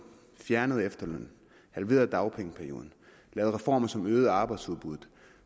fjernet efterlønnen halveret dagpengeperioden lavet reformer som øgede arbejdsudbuddet